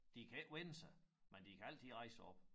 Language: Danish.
De kan ikke vende sig men de kan altid rejse sig op